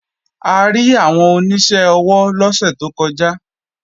A rí àwọn oníṣẹ́ ọwọ́ lọ́sẹ̀ tó kọjá